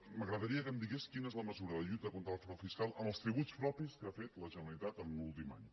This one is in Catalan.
m’agradaria que em digués quina és la mesura de lluita contra el frau fiscal en els tributs propis que ha fet la generalitat en l’últim any